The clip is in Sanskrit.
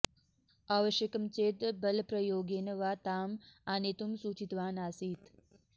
आवश्यकं चेत् बलप्रयोगेन वा ताम् आनेतुं सूचितवान् आसीत्